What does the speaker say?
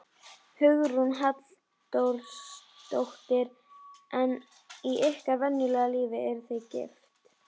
Málun og málningu: Verksmiðjurnar Harpa og Litir og lökk.